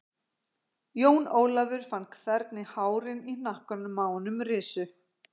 Jón Ólafur fann hvernig hárin í hnakkanum á honum risu.